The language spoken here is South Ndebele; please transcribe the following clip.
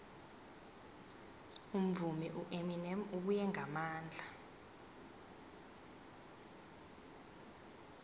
umvumi ueminem ubuye ngamandla